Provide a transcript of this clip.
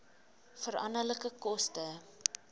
veranderlike koste